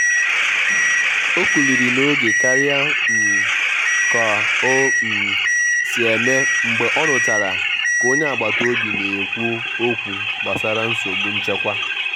ọ́kụ́kụ́ áká n’ímé ábalì mèré ká m ná-éché má ọ́ bụ̀ nlélé nchédò ká ọ́ bụ̀ ónyé ọ́bịà.